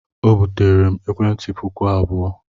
O buteere m ekwentị puku abụọ.